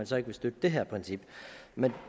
så ikke vil støtte det her princip men